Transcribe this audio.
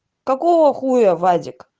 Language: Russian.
какого хуя вадик